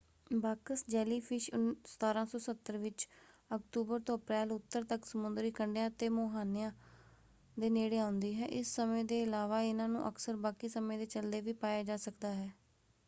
Box jellyfish 1770 ਵਿੱਚ ਅਕਤੂਬਰ ਤੋਂ ਅਪ੍ਰੈਲ ਉੱਤਰ ਤੱਕ ਸਮੁੰਦਰੀ ਕੰਢਿਆਂ ਅਤੇ ਮੁਹਾਨਿਆਂ ਦੇ ਨੇੜੇ ਆਉਂਦੀ ਹੈ। ਇਸ ਸਮੇਂ ਦੇ ਇਲਾਵਾ ਇਹਨਾਂ ਨੂੰ ਅਕਸਰ ਬਾਕੀ ਸਮੇਂ ਦੇ ਚੱਲਦੇ ਵੀ ਪਾਇਆ ਜਾ ਸਕਦਾ ਹੈ।